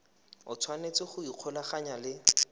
o tshwanetse go ikgolaganya le